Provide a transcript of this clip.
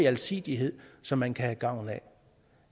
alsidighed som man kan have gavn af